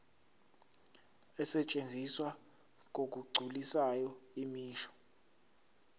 asetshenziswa ngokugculisayo imisho